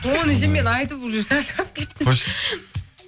оны ше мен айтып уже шаршап кеттім қойшы